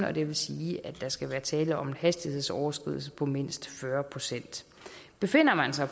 og det vil sige at der skal være tale om en hastighedsoverskridelse på mindst fyrre procent befinder man sig